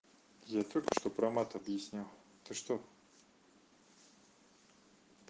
я только что про мат объяснял ты что